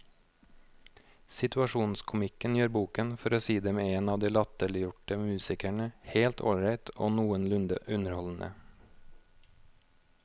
Situasjonskomikken gjør boken, for å si det med en av de latterliggjorte musikerne, helt ålreit og noenlunde underholdende.